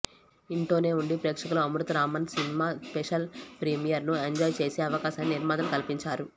ఇంటోనే ఉండి ప్రేక్షకులు Amrutharamam cinema special premiere ను ఎంజాయ్ చేసే అవకాశాన్ని నిర్మాతలు కల్పించారు